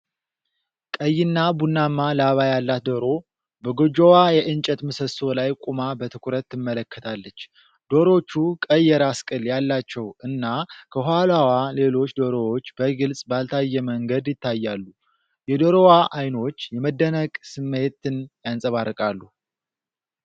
ቀይና ቡናማ ላባ ያላት ዶሮ በጎጆዋ የእንጨት ምሰሶ ላይ ቆማ በትኩረት ትመለከታለች። ዶሮቹ ቀይ የራስ ቅል ያላቸው እና፣ ከኋላዋ ሌሎች ዶሮዎች በግልጽ ባልታየ መንገድ ይታያሉ። የዶሮዋ አይኖች የመደነቅ ስሜትን ያንጸባርቃሉ።